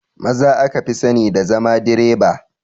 Maza aka fi sani da zama direba